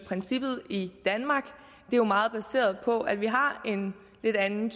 princippet i danmark er jo meget baseret på at vi har en lidt anden